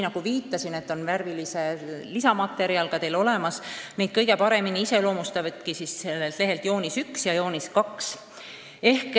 Nagu ma viitasin, on meil teile ka värviline lisamaterjal olemas ning kõige paremini iseloomustavadki asjade seisu joonis 1 ja 2.